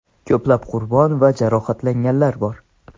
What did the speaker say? Ko‘plab qurbon va jarohatlanganlar bor.